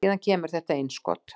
Síðan kemur þetta innskot.